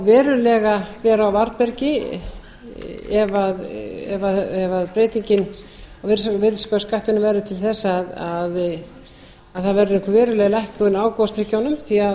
verulega vera á varðbergi ef breytingin á virðisaukaskattinum verður til þess að það verður veruleg lækkun á gosdrykkjum því